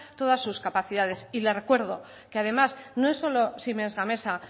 todas sus capacidades y le recuerdo que además no es solo siemens gamesa